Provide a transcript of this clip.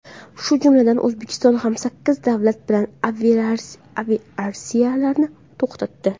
Shu jumladan, O‘zbekiston ham sakkiz davlat bilan aviareyslarni to‘xtatdi .